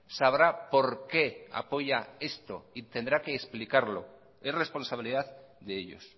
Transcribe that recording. sabrá por qué apoya esto y tendrá que explicarlo es responsabilidad de ellos